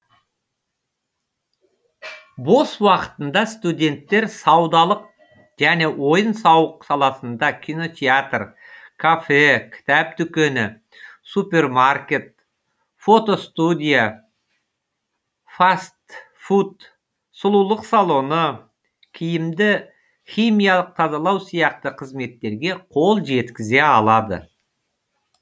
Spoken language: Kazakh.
бос уақытында студенттер саудалық және ойын сауық саласында кинотеатр кафе кітап дүкені супермаркет фото студия фаст фуд сұлулық салоны киімді химиялық тазалау сияқты қызметтерге қол жеткізе алады